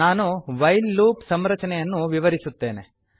ನಾನು while loop ಸಂರಚನೆಯನ್ನು ವಿವರಿಸುತ್ತೇನೆ